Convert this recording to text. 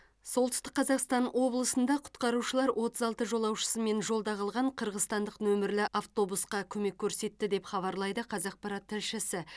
солтүстік қазақстан облысында құтқарушылар отыз алты жолаушысымен жолда қалған қырғызстандық нөмірлі автобусқа көмек көрсетті деп хабарлайды қазақпарат тілшісі